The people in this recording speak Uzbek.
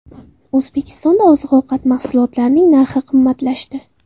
O‘zbekistonda oziq-ovqat mahsulotlarining narxi qimmatlashdi.